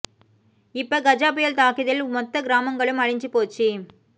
இப்ப கஜா பயல் தாக்கியதில் மொத்த கிராமங்களும் அழிஞ்சு போச்சு